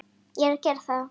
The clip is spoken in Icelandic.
Það er nú barasta það.